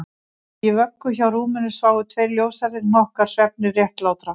Í vöggum hjá rúminu sváfu tveir ljóshærðir hnokkar svefni réttlátra